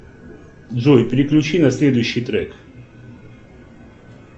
джой переключи на следующий трек